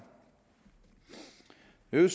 jeg vil